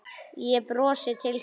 Ég brosi til þín.